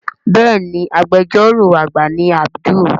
Béèni Agbẹjọ́rò àgbà ni Abdul.